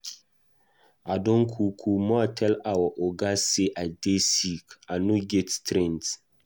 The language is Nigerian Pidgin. I don kukuma tell our Oga say I dey sick, I no get strength.